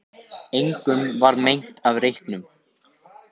Engum varð meint af reyknum